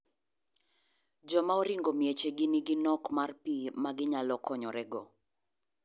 Joma oringo miech gi nigi nok mar pii magi nyalo konore go.